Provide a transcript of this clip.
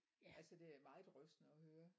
Altså det er meget rystende at høre